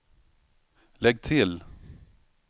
lägg till